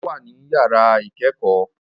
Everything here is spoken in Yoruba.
Ọlá wà ní yàrá ìkẹ́kọ̀ọ́